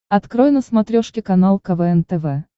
открой на смотрешке канал квн тв